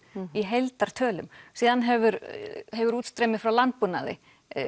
í heildartölum síðan hefur hefur útstreymið frá landbúnaði